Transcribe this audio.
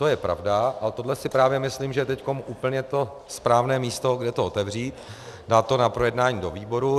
To je pravda, ale tohle si právě myslím, že je teď úplně to správné místo, kde to otevřít, dát to na projednání do výborů.